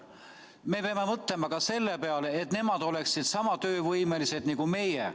Me peame mõtlema ka selle peale, et nemad oleksid sama töövõimelised nagu meie.